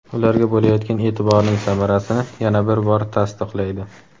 ularga bo‘layotgan eʼtiborning samarasini yana bir bor tasdiqlaydi.